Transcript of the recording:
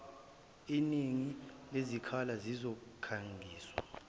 iningi lezikhala zizokhangiswa